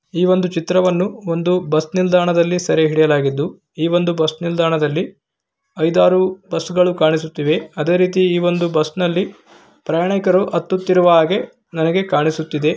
ಈ ಒಂದು ಚಿತ್ರಣವನ್ನು ಒಂದು ಬಸ್ ನಿಲ್ದಾಣದಲ್ಲಿ ಸೆರೆಹಿಡಿಯಲಾಗಿದ್ದು ಈ ಒಂದು ಬಸ್ ನಿಲ್ದಾಣದಲ್ಲಿ ಐದಾರು ಬಸ್ಗಳು ಕಾಣಿಸುತ್ತಿವೆ ಅದೆ ರೀತಿ ಈ ಒಂದು ಬಸ್ನಲ್ಲಿ ಪ್ರಯಾಣಿಕರು ಹತ್ತುತಿರುವ ಹಾಗೆ ನನಗೆ ಕಾಣಿಸುತ್ತಿದೆ.